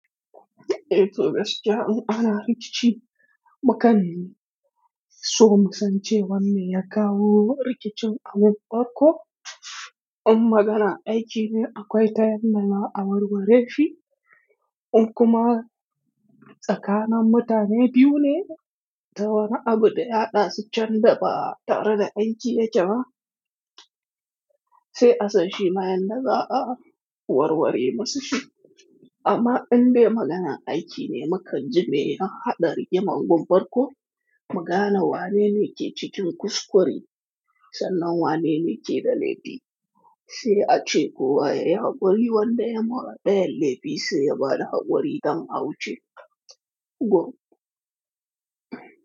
Eh to gaskiya in ana rikici, mu kam so mu san cewa me ya kawo rikicin a mun barko. In magana aiki ne akwai ta yanda za a warware shi, in kuma tsakanin mutane biyu ne, ta wani abu da ya haɗa su can da ba tare da aiki yake ba, sai asan shi ma yanda za a warware masa shi. Amma in de maganan aiki ne makaji mai hada rigimar gobarko, magana wane ne ke cikin kuskure, sannan wane ne ke da laifi, sai ace kowa yayi haƙuri wanda ya marar ɗayan laifi sai ya ba da haƙuri don a wuce gun.